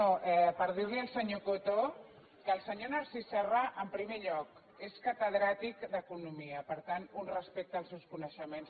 no per dir·li al senyor coto que el senyor nar·cís serra en primer lloc és catedràtic d’economia per tant un respecte als seus coneixements